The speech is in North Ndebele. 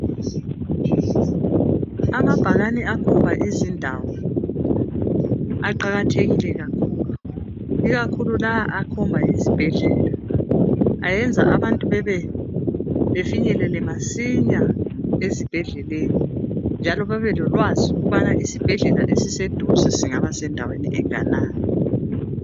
Amabhakane akhomba izindawo aqakathekile kakhulu. Ikakhulu lawo akhomba isibhedlela. Ayenza abantu bafike masinya esibhedleleni njalo babelolwazi ukubana isibhedlela esiseduze singaba sendaweni enganani